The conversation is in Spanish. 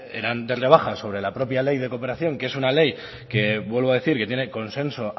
eran de rebaja sobra la propia ley de cooperación que es una ley que vuelvo a decir que tiene consenso